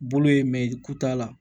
Bolo ye mɛyi ku t'a la